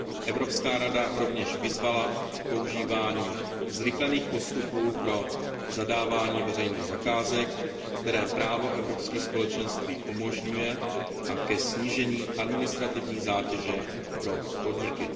Evropská rada rovněž vyzvala k používání zrychlených postupů pro zadávání veřejných zakázek, které právo Evropských společenství umožňuje, a ke snížení administrativní zátěže pro podniky.